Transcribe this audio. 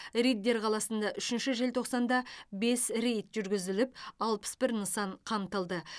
риддер қаласында үшінші желтоқсанда бес рейд жүргізіліп алпыс бір нысан қамтылды